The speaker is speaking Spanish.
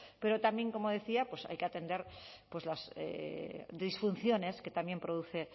pero también como decía pues hay que atender las disfunciones que también produce